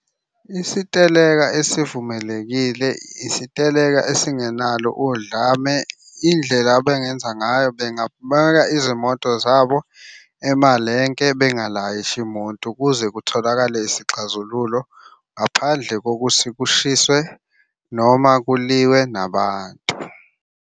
Isiteleka esivumelekile isiteleka esingenalo udlame. Indlela abengenza ngayo bengabeka izimoto zabo emalenke bengalayishi muntu kuze kutholakale isixazululo ngaphandle kokuthi kushiswe noma kuliwe nabantu.